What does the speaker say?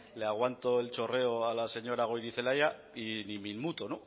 le aguanto el chorreo a la señora goirizelaia y ni me inmuto